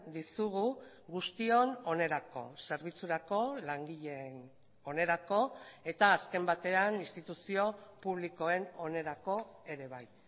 dizugu guztion onerako zerbitzurako langileen onerako eta azken batean instituzio publikoen onerako ere bai